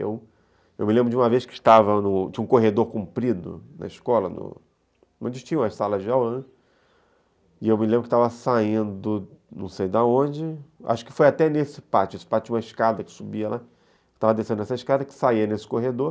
Eu, eu me lembro de uma vez que tinha um corredor comprido na escola, onde tinham as salas de aula, né, e eu me lembro que estava saindo, não sei de onde, acho que foi até nesse pátio, esse pátio tinha uma escada que subia lá, estava descendo essa escada, que saia nesse corredor,